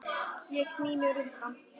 Ég sný mér undan.